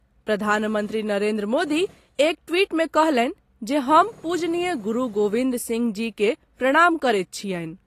प्रधानमंत्री नरेन्द्र मोदी एक ट्वीट मे कहलनि जे हम पूज्यनीय गुरु गोविंद सिंह जी के प्रणाम करैत छियनि।